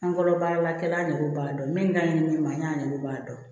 An kɔrɔ baaralakɛla nege b'a dɔn min ka ɲi ne ma n y'a ɲɛw b'a dɔn